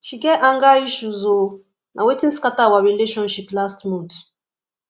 she get anger issues o na wetin scatter our relationship last month